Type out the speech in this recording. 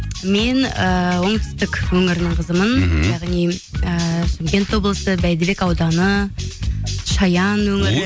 мен ыыы оңтүстік өңірінің қызымын мхм яғни ыыы шымкент облысы бәйдібек ауданы шаян өңірі